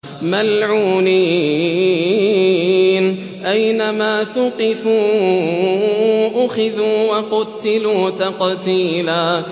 مَّلْعُونِينَ ۖ أَيْنَمَا ثُقِفُوا أُخِذُوا وَقُتِّلُوا تَقْتِيلًا